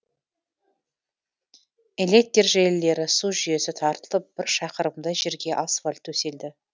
электр желілері су жүйесі тартылып бір шақырымдай жерге асфальт төселді